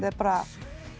er bara